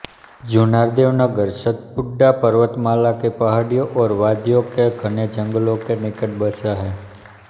जुन्नारदेव नगर सतपुड़ा पर्वतमाला की पहाड़ियों और वादियों के घने जंगलों के निकट बसा है